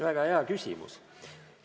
Väga hea küsimus!